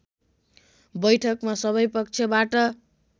बैठकमा सबै पक्षबाट